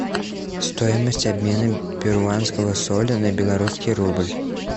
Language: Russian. стоимость обмена перуанского соля на белорусский рубль